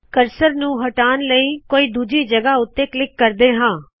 cursor ਨੁ ਹਟਾਉਣ ਲਇ ਅਸੀ ਕੋਈ ਦੂਜੀ ਜਗਹ ਉੱਤੇ ਕਲਿੱਕ ਕਰਦੇ ਹਾ